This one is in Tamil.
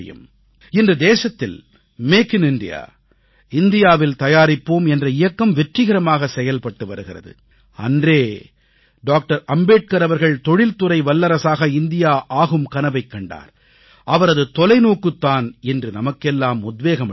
இன்று தேசத்தில் மேக் இன் இந்தியா இந்தியாவில் தயாரிப்போம் என்ற இயக்கம் வெற்றிகரமாக செயல்பட்டு வருகிறது அன்றே டாக்டர் அம்பேத்கர் அவர்கள் தொழில்துறை வல்லரசாக இந்தியா ஆகும் கனவைக் கண்டார் அவரது தொலைநோக்குத் தான் இன்று நமக்கெல்லாம் உத்வேகம் அளிக்கிறது